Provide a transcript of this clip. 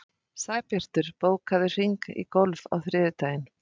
Sæbjartur, bókaðu hring í golf á þriðjudaginn.